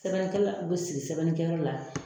Sɛbɛnnikɛla be sigi sɛbɛnni kɛ yɔrɔ la